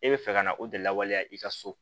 E bɛ fɛ ka na o de lawaleya i ka so